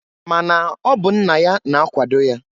Ma na ọ bụ nna ya na-akwado ya.